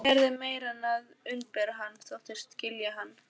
Gerði meira en að umbera hann: þóttist skilja hann.